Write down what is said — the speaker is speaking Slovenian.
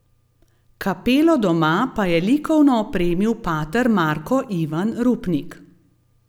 Kapelo doma pa je likovno opremil pater Marko Ivan Rupnik.